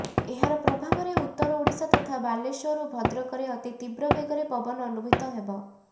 ଏହାର ପ୍ରଭାବରେ ଉତ୍ତର ଓଡ଼ିଶା ତଥା ବାଲେଶ୍ବର ଓ ଭଦ୍ରକରେ ଅତି ତୀବ୍ର ବେଗରେ ପବନ ଅନୁଭୂତ ହେବ